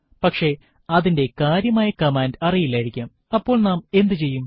പക്ഷെ അതിന്റെ കൃത്യമായ കമാൻഡ് അറിയില്ലായിരിക്കാംഅപ്പോൾ നാം എന്ത് ചെയ്യും